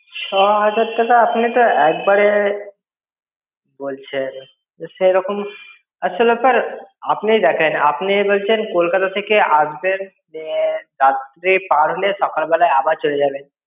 ছ হাজার টাকা আপনি তো একবারে বলছেন সেরকম আসলে আপনার আপনি দেখেন আপনি বলছেন কলকাতা থেকে আসবেন রাত্রে পারলে সকালবেলা আবার চলে যাবেন